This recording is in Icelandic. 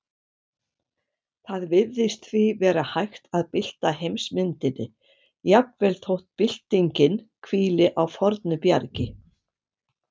Það virðist því vera hægt að bylta heimsmyndinni, jafnvel þótt byltingin hvíli á fornu bjargi.